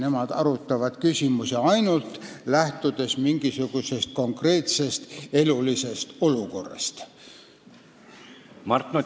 Nad arutavad ainult mingisugusest konkreetsest elulisest olukorrast lähtuvaid küsimusi.